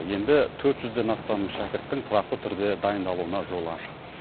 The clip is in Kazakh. енді төрт жүзден астам шәкірттің тұрақты түрде дайындалуына жол ашық